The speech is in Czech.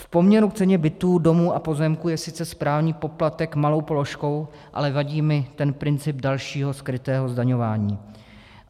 V poměru k ceně bytů, domů a pozemků je sice správní poplatek malou položkou, ale vadí mi ten princip dalšího skrytého zdaňování.